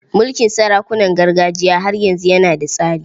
Mulkin sarakunan gargajiya har yanzu yana da tsari.